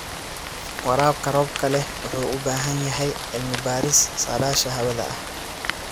Waraabka roobka leh wuxuu u baahan yahay cilmi-baaris saadaasha hawada ah.